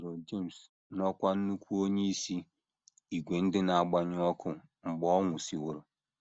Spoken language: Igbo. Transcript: E bugoro James n’ọkwá nnukwu onyeisi ìgwè ndị na - agbanyụ ọkụ mgbe ọ nwụsịworo.